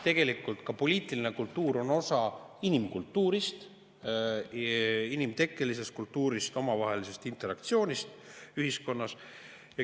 Tegelikult ka poliitiline kultuur on osa inimkultuurist, inimtekkelisest kultuurist, omavahelisest interaktsioonist ühiskonnas.